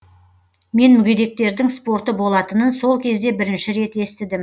мен мүгедектердің спорты болатынын сол кезде бірінші рет естідім